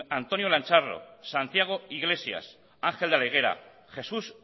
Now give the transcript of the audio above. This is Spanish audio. antonio lancharro santiago iglesias ángel de la higuera jesús